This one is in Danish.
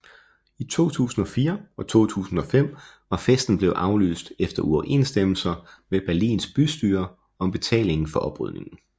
I 2004 og 2005 var festen blevet aflyst efter uoverensstemmelser med Berlins bystyre om betalingen for oprydningen